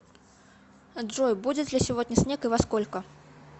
джой будет ли сегодня снег и во сколько